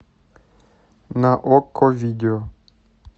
на окко видео